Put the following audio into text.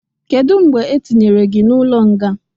Kedu mgbe etinyere gị n'ụlọ nga?